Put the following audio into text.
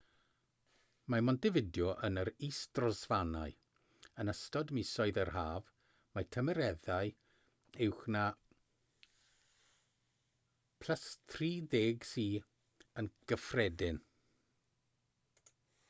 mae montevideo yn yr is-drofannau; yn ystod misoedd yr haf mae tymereddau uwch na +30°c yn gyffredin